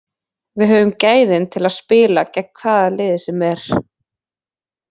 Við höfum gæðin til að spila gegn hvaða liði sem er.